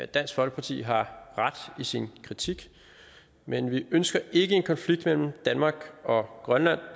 dansk folkeparti har ret i sin kritik men vi ønsker ikke en konflikt mellem danmark og grønland